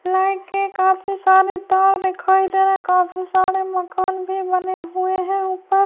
Late کے کافی سارے تار دکھائی دے رہے ہے۔ کافی سارے مکان بھی بنے ہوئے ہے اپر--